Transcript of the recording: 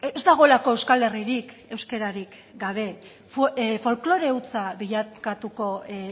ez dagoelako euskal herririk euskararik gabe folklore hutsa bilakatuko